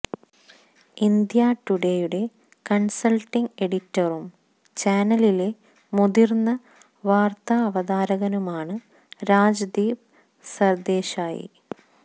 India ടുഡേയുടെ consulting എഡിറ്ററും ചാനലിലെ മുതിര്ന്ന വാര്ത്താവതാരകനുമാണ് രാജ്ദീപ് സര്ദേശായി